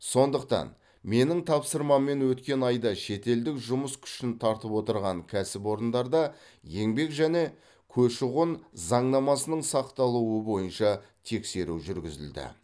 сондықтан менің тапсырмаммен өткен айда шетелдік жұмыс күшін тартып отырған кәсіпорындарда еңбек және көші қон заңнамасының сақталуы бойынша тексеру жүргізілді